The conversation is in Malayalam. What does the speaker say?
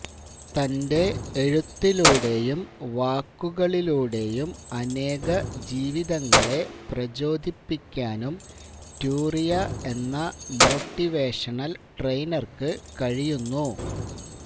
തന്റെ എഴുത്തിലൂടെയും വാക്കുകളിലൂടെയും അനേകജീവിതങ്ങളെ പ്രചോദിപ്പിക്കാനും ട്യൂറിയ എന്ന മോട്ടിവേഷണല് ട്രെയിനര്ക്ക് കഴിയുന്നു